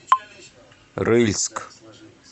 рыльск